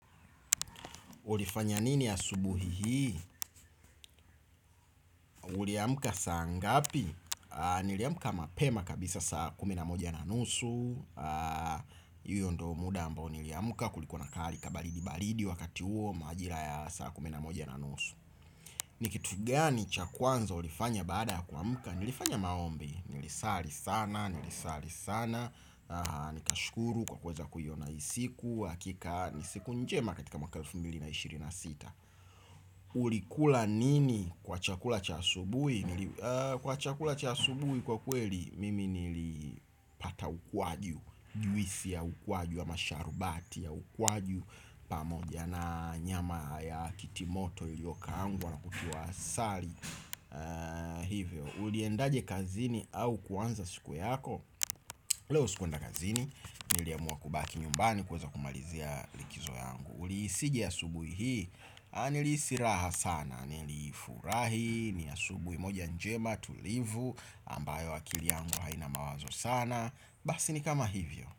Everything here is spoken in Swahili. Ulifanya nini asubuhi hii? Uli amka saa ngapi? Niliamka mapema kabisa saa kuminamoja na nusu, hiyo ndo muda ambao niliamka kulikuwa hali kabaridi-baridi wakati huo majira ya saa kuminamoja na nusu. Ni kitu gani cha kwanza ulifanya baada kuamka? Nilifanya maombi, nilisali sana, nilisali sana, nikashukuru kwa kuweza kuiona hii siku, hakika, ni siku njema katika mwaka elfu mbili na ishiri na sita. Ulikula nini kwa chakula cha asubuhi? Kwa chakula cha asubuhi kwa kweli mimi nili pata ukwaju juisi ya ukwaju ama masharubati ya ukwaju pamoja na nyama ya kitimoto liyokaangwa na kutiwa asali. Hivyo Uliendaje kazini au kuanza siku yako? Leo sikuenda kazini. Niliamua kubaki nyumbani kuweza kumalizia likizo yangu. Ulihisije asubuhi hii? Aah, nilihisi raha sana. Nilifurahi, ni asubuhi moja njema tulivu ambayo akili yangu haina mawazo sana. Basi ni kama hivyo.